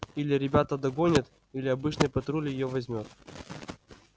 или ребята догонят или обычный патруль её возьмёт